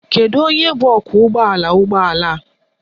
Kedu onye bụ ọkwọụgbọala ụgbọala?